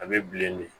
A bɛ bilen de